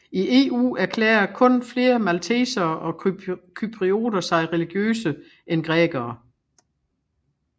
I EU erklærer kun flere maltesere og cyprioter sig religiøse end grækerne